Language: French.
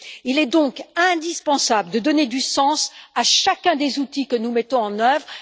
Il est donc indispensable de donner du sens à chacun des outils que nous mettons en œuvre.